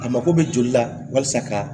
A mako bɛ joli la walasa ka